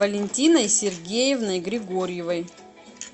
валентиной сергеевной григорьевой